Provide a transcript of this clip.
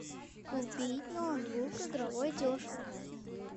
купить ноутбук игровой дешево